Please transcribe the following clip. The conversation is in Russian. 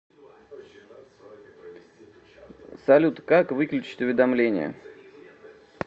салют как выключить уведомление